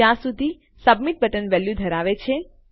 જ્યાં સુધી submit button value ધરાવે છે